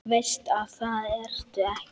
Veist að það ertu ekki.